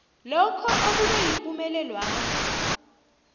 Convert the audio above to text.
lokho okube yipumelelwakho